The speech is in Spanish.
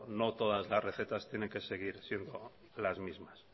no todas las recetas tienen que seguir siendo las mismas